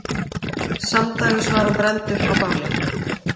Samdægurs var hann brenndur á báli.